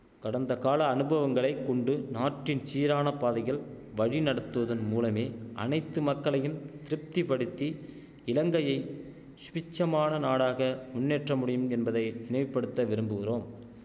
கடந்தகால அனுபவங்களைக் கொண்டு நாட்டின் சீரான பாதையில் வழி நடத்துவதன் மூலமே அனைத்து மக்களையும் திருப்தி படுத்தி இலங்கையை சுபிட்சமான நாடாக முன்னேற்ற முடியும் என்பதை நினைவுபடுத்த விரும்புகிறோம்